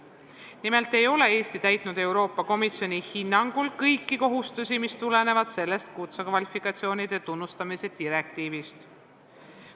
Nimelt ei ole Eesti täitnud Euroopa Komisjoni hinnangul kõiki kohustusi, mis tulenevad sellest kutsekvalifikatsioonide tunnustamise direktiivist.